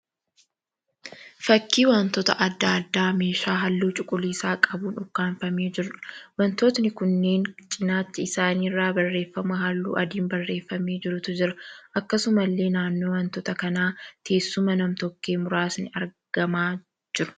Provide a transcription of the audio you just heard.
Fakkii wantoota adda addaa meeshaa halluu cuquliisa qabuun ukkaanfamee jiruudha. Wantootni kunneen cinaacha isaanii irraa barreeffama halluu adiin barreeffamee jirutu jira. Akkasumallee naannoo wantoota kanaa teessuma nam-tokkee muraasni argamaa jiru.